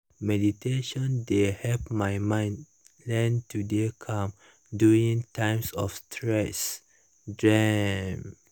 meditation dey help my mind learn to dey calm during times of stress drm